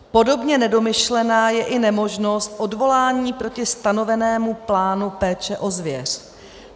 Podobně nedomyšlená je i nemožnost odvolání proti stanovému plánu péče o zvěř.